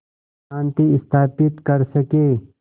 शांति स्थापित कर सकें